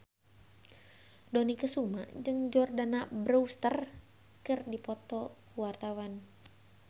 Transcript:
Dony Kesuma jeung Jordana Brewster keur dipoto ku wartawan